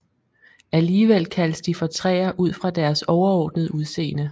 Alligevel kaldes de for træer ud fra deres overordnede udseende